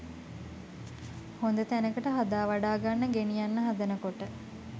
හොද තැනකට හදාවඩාගන්න ගෙනියන්න හදනකොට